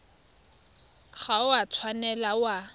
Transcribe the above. ga o a tshwanela wa